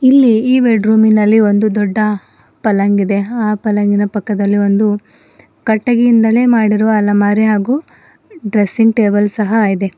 ಇಲ್ಲಿ ಈ ಬೆಡ್ರೂಮಿನಲ್ಲಿ ಒಂದು ದೊಡ್ಡ ಪಲ್ಲಂಗಿದೆ ಇದೆ ಆ ಪಲ್ಲಂಗಿನ ಪಕ್ಕದಲ್ಲಿ ಒಂದು ಕಟಗಿಯಿಂದನೆ ಮಾಡಿರುವ ಅಲಮರಿ ಹಾಗೂ ಡ್ರೆಸ್ಸಿಂಗ್ ಟೇಬಲ್ ಸಹ ಇದೆ.